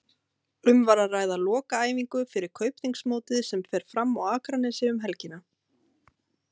Um var að ræða lokaæfingu fyrir Kaupþings mótið sem fer fram á Akranesi um helgina.